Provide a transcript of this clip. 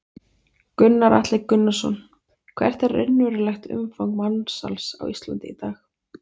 Gunnar Atli Gunnarsson: Hvert er raunverulegt umfang mansals á Íslandi í dag?